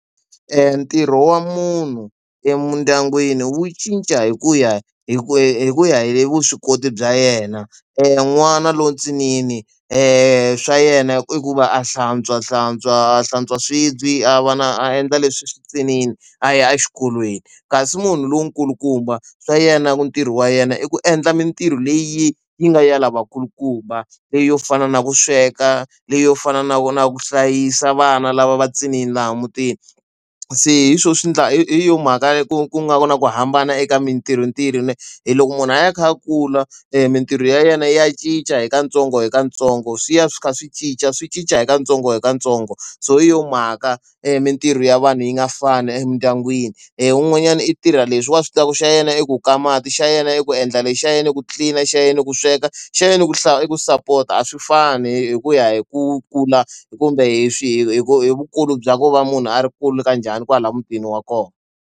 Ntirho wa munhu emindyangwini wu cinca hi ku ya hi ku hi ku ya hi vuswikoti bya yena n'wana lowu ntsinini e swa yena ku va a hlantswa a hlantswa a hlantswa swibye a va na a endla leswi nghenini a ya exikolweni kasi munhu lowu kulukumba swa yena ntirho wa yena i ku endla mintirho leyi yi nga ya lavakulukumba leyi yo fana na ku sweka leyi yo fana na ko na ku hlayisa vana lava va ciniwi laha mutini se hi swo swi endla hi yo mhaka ku ku nga na ku hambana eka mintirho ntirho hi loko munhu a ya kha ya kula mintirho ya yena ya cinca hi katsongo hi katsongo swi ya swi kha swi cinca swi cinca hi katsongo hi katsongo so hi yo mhaka mintirho ya vanhu yi nga fani emindyangwini leyi wun'wanyana i tirha leswi wa switandzhaku xa yena i ku ka mati xa yena i ku endla lexi xa yena ku clean a xa yena ku sweka xa yena ku hlaya i ku support a swi fani hi ku ya hi ku kula kumbe hi swi hi ku hi vukulu bya ko va munhu a ri kule kanjhani kwala mutini wa kona.